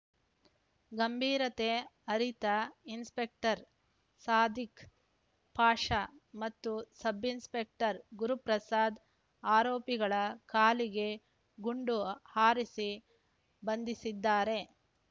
ಗಂಭೀರತೆ ಅರಿತ ಇನ್ಸ್‌ಪೆಕ್ಟರ್‌ ಸಾದಿಕ್‌ ಪಾಷಾ ಮತ್ತು ಸಬ್‌ಇನ್ಸ್‌ಪೆಕ್ಟರ್‌ ಗುರುಪ್ರಸಾದ್‌ ಆರೋಪಿಗಳ ಕಾಲಿಗೆ ಗುಂಡು ಹಾರಿಸಿ ಬಂಧಿಸಿದ್ದಾರೆ